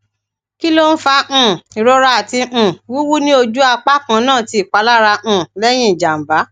kí ló ń fa um ìrora àti um wuwu ní oju apa kannà tí ipalará um lẹyìn ijàǹbá